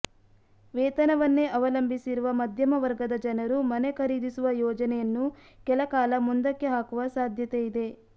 ವೇತನವನ್ನೇ ಅವಲಂಬಿಸಿರುವ ಮಧ್ಯಮ ವರ್ಗದ ಜನರು ಮನೆ ಖರೀದಿಸುವ ಯೋಜನೆಯನ್ನು ಕೆಲ ಕಾಲ ಮುಂದಕ್ಕೆ ಹಾಕುವ ಸಾಧ್ಯತೆ ಇದೆ